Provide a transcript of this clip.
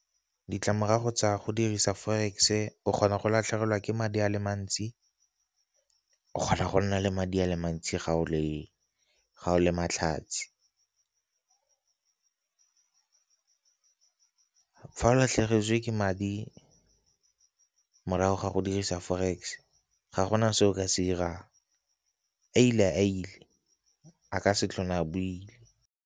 Ditlamorago tsa go dirisa forex-e o kgona go latlhegelwa ke madi a le mantsi, o kgona go nna le madi a le mantsi ga o le, ga o le matlhatsi. Fa o latlhegetswe ke madi morago ga go dirisa forex ga gona se o ka se 'irang a ile a ile a ka se tlhole a boile.